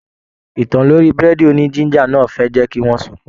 Ìtàn lorí burẹdi òní-jìnjà náà fẹ ẹ jẹ kí wọn sunkún.